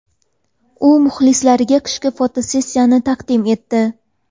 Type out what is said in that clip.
U muxlislariga qishki fotosessiyasini taqdim etdi.